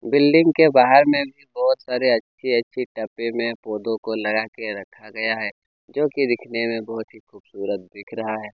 Building के बाहर में भी बहुत सारे अच्छे - अच्छे डब्बे में पोधो को लगाके रखा गया है जो कि दिखने में बहुत ही खुबसूरत दिख रहा है।